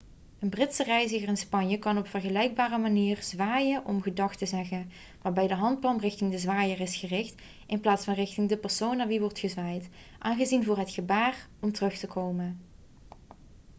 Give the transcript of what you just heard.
een britse reiziger in spanje kan op vergelijkbare manier zwaaien om gedag te zeggen waarbij de handpalm richting de zwaaier is gericht in plaats van richting de persoon naar wie wordt gezwaaid aanzien voor het gebaar om terug te komen